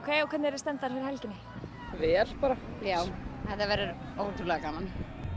stemmdar fyrir helginni vel bara já þetta verður ótrúlega gaman